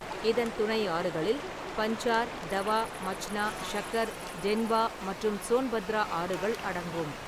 இதன் துணை ஆறுகளில் பஞ்சார், தவா, மச்னா, ஷக்கர், டென்வா மற்றும் சோன்பத்ரா ஆறுகள் அடங்கும்.